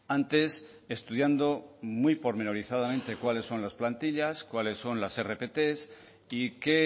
antes estudiando muy pormenorizadamente cuáles son las plantillas cuáles son las rpt y qué